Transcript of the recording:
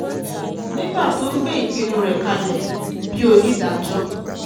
nígbà um tó ń gbé ìpinnu rẹ̀ kalẹ̀ onídàájọ́ b onídàájọ́ b